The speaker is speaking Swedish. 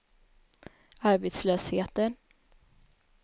arbetslösheten